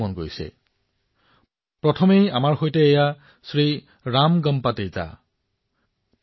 সৰ্ব প্ৰথমে আমাৰ সৈতে জড়িত হব শ্ৰী ৰামগম্পা তেজা মহোদয়